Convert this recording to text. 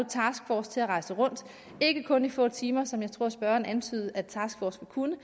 til at rejse rundt ikke kun i få timer som jeg tror spørgeren antydede at taskforcen kunne